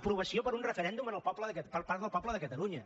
aprovació per un referèndum per part del poble de catalunya